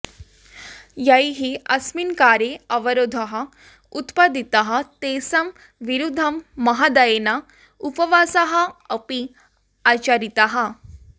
यैः अस्मिन् कार्ये अवरोधः उत्पादितः तेषां विरुद्धं महोदयेन उपवासाः अपि आचरिताः